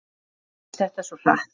Svo gerðist þetta svo hratt.